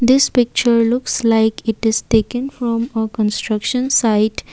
this picture looks like it is taken from a construction site.